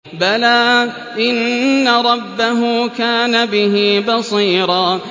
بَلَىٰ إِنَّ رَبَّهُ كَانَ بِهِ بَصِيرًا